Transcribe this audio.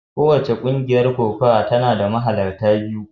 Kowace ƙungiyar kokawa tana da mahalarta biyu.